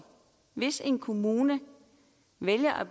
hvis en kommune vælger at